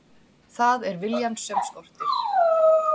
Það er viljann sem skortir.